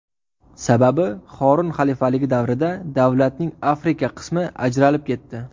Sababi Horun xalifaligi davrida davlatning Afrika qismi ajralib ketdi.